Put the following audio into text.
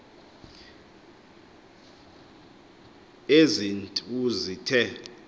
ezi nt uzithe